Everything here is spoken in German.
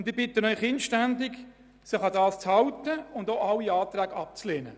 Ich bitte Sie inständig, sich daran zu halten und alle Anträge abzulehnen.